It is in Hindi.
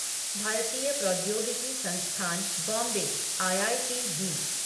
भारतीय प्रौद्योगिकी संस्थान बॉम्बे आईआईटीबी